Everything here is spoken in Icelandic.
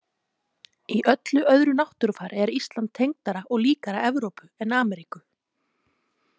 Í öllu öðru náttúrufari er Ísland tengdara og líkara Evrópu en Ameríku.